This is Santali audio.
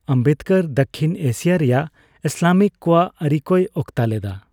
ᱟᱢᱵᱮᱫᱽᱠᱚᱨ ᱫᱟᱠᱠᱷᱤᱱ ᱮᱥᱤᱭᱟ ᱨᱮᱭᱟᱜ ᱤᱥᱞᱟᱢᱤᱠ ᱠᱚᱣᱟᱜ ᱟᱹᱨᱤ ᱠᱚᱭ ᱚᱠᱛᱟ ᱞᱮᱫᱟ ᱾